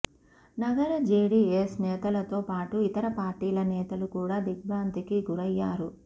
నగర జేడీఎస్ నేతలతో పాటు ఇతరపార్టీల నేతలు కూడా దిగ్భ్రాంతికి గురయ్యారు